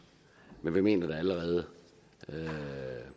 men vi mener at det allerede